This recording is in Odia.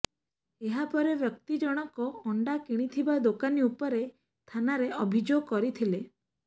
ଏହା ପରେ ବ୍ୟକ୍ତି ଜଣକ ଅଣ୍ଡା କିଣିଥିବା ଦୋକାନୀ ଉପରେ ଥାନାରେ ଅଭିଯୋଗ କରିଥିଲେ